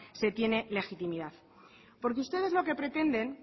se tiene legitimidad porque ustedes lo que pretenden